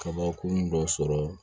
Kabakurun dɔ sɔrɔ